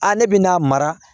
A ne bɛ n'a mara